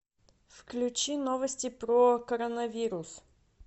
включи новости про коронавирус